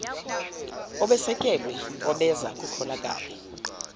obesekelwe obeza kukholakale